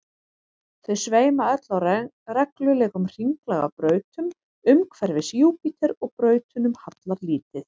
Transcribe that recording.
þau sveima öll á reglulegum hringlaga brautum umhverfis júpíter og brautunum hallar lítið